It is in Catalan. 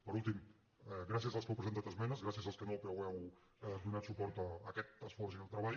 per últim gràcies als que heu presentat esmenes gràcies als que no però heu donat suport a aquest esforç i al treball